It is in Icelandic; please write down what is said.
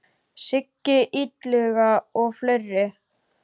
Siggi Illuga og fleiri.